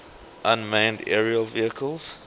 unmanned aerial vehicles